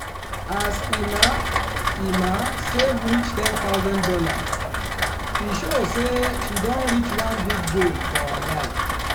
as emma emma save reach one thousand dollars0 e show say she don reach one big goal for her life.